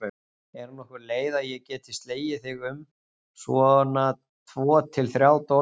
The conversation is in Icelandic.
Er nokkur leið að ég geti slegið þig um svona tvo til þrjá dollara?